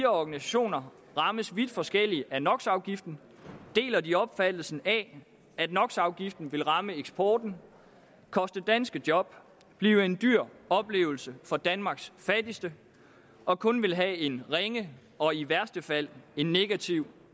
organisationer rammes vidt forskelligt af nox afgiften deler de opfattelsen af at nox afgiften vil ramme eksporten koste danske job blive en dyr oplevelse for danmarks fattigste og kun vil have en ringe og i værste fald en negativ